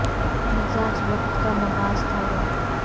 مزاج وقت کا نباض تھا وہ